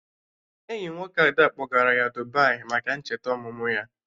Enyi nwoke Ada kpọgara ya Dubai maka ncheta ọmụmụ ya